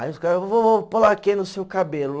Aí os caras vou pôr laquê no seu cabelo.